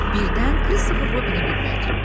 Birdən Kristofer Robini gülmək tutdu.